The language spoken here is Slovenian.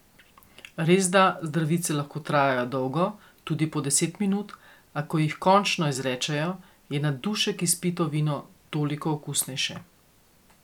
Resda zdravice lahko trajajo dolgo, tudi po deset minut, a ko jih končno izrečejo, je na dušek izpito vino toliko okusnejše.